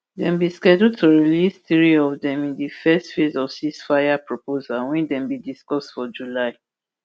dem bin schedule to release three of dem in di first phase of ceasefire proposal wey dem bin discuss for july